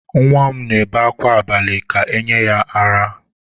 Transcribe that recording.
Nwa m na-ebe akwa abalị ka e nye ya ara.